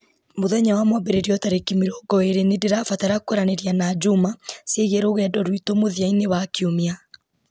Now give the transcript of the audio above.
mũthenya wa mwambĩrĩrio tarĩki mĩrongo ĩĩrĩ nĩ ndĩrabatara kwaranĩria na juma ciĩgiĩ rugendo rwitũ mũthia-inĩ wa kiumia